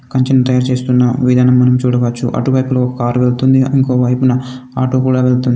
కంచెని తయారు చేస్తున్న విధానం మనం చూడవచ్చు. అటువైపులో ఒక కారు వెళ్తుంది. ఇంకో వైపున ఆటో కూడా వెళ్తుంది.